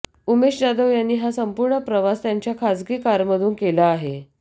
उमेश जाधव यांनी हा संपूर्ण प्रवास त्यांच्या एका खासगी कारमधून केला आहे